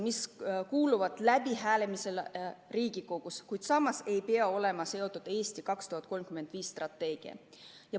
Need kuuluvad Riigikogus läbihääletamisele, samas ei pea need olema seotud strateegiaga "Eesti 2035".